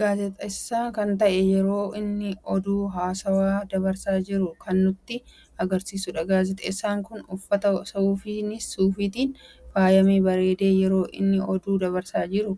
Gaazixeessa kan ta'e yeroo inni oduu hawaasaf dabarsaa jiru kan nutti agarsiisuudha. gaazixeessaan kun uffata suufiitin faayamee bareede yeroo inni oduu dabarsaa jiru